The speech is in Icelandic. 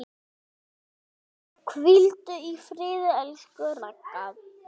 Hvíldu í friði, elsku Ragga.